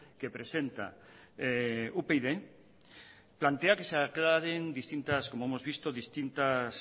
que presenta upyd plantea que se aclaren distintas como hemos visto distintas